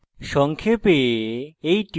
সংক্ষেপে